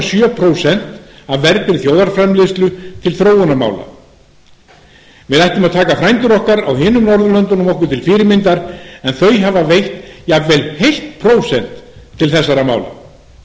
sjö prósent af vergri þjóðarframleiðslu til þróunarmála við ættum að taka frændur okkar á öðrum norðurlöndum okkur til fyrirmyndar en þau hafa veitt jafnvel heilt prósent til þessara mála